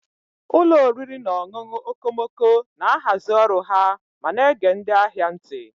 Ụlọ oriri na ọṅụṅụ okomoko na-ahazi ọrụ ha ma na-ege ndị ahịa ntị.